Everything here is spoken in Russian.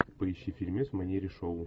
поищи фильмец в манере шоу